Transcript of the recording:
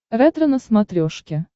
ретро на смотрешке